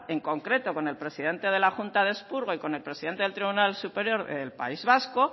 en concreto con el presidente de la junta de expurgo y con el presidente del tribunal superior del país vasco